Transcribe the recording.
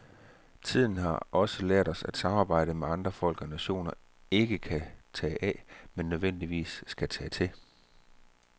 Tiden har så lært os, at samarbejdet med andre folk og nationer ikke kan tage af, men nødvendigvis skal tage til.